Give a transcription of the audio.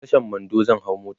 a Tashan Mando zan hau mota